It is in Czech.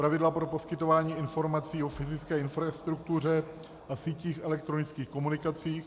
Pravidla pro poskytování informací o fyzické infrastruktuře a sítích elektronických komunikací.